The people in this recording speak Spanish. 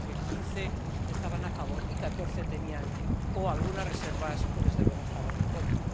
Es decir, que 15 miembros estaban a favor y 14 tenían o algunas reservas o desde luego estaban en contra.